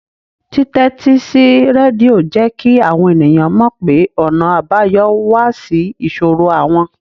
Títẹ́tí sí rédíò jẹ́ kí àwọn ènìyàn mọ̀ pé ọ̀nà àbáyọ wà sí ìṣòro àwọn